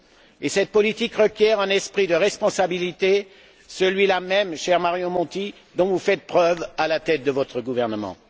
Et cette politique requiert un esprit de responsabilité, celui là même, cher Mario Monti, dont vous faites preuve à la tête de votre gouvernement.